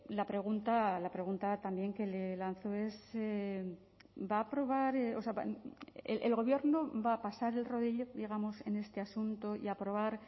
la pregunta la pregunta también que le lanzo es va a aprobar el gobierno va a pasar el rodillo digamos en este asunto y aprobar